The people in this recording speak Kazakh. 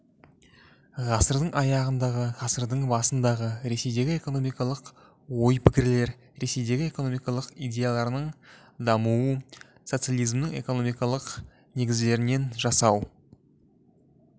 ғасырдың аяғындағы ғасырдың басындағы ресейдегі экономикалық ой-пікірлер ресейдегі экономикалық идеяларының дамуы социализмнің экономикалық негіздерін жасау